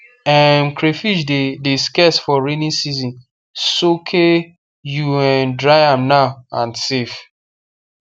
um crayfish de de scarce for raining season soake you um dry am now and save